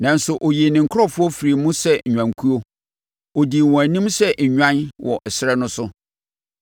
Nanso ɔyii ne nkurɔfoɔ firii mu sɛ nnwankuo; ɔdii wɔn anim sɛ nnwan wɔ ɛserɛ no so.